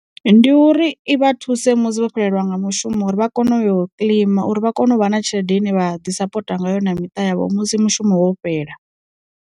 Ndi uri i vha thuse musi vho xelelwa nga mushumo uri vha kone u ya kilima uri vha kone u vha na tshelede ine vha ḓi sapota ngayo na miṱa yavho musi mushumo wo fhela.